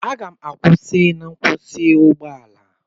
M ga-akwụsị na nkwụsị ụgbọ ala